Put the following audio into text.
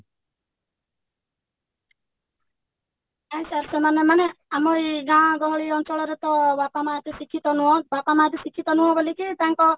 ନାଇଁ sir ସେମାନେ ମାନେ ଆମର ଗାଁ ଗହଳି ଅଞ୍ଚଳରେ ତ ବାପା ମାଆ ଏତେ ଶିକ୍ଷିତ ନୁହଁ ବାପା ମାଆ ବି ଶିକ୍ଷିତ ନୁହଁ ବୋଲିକି ତାଙ୍କ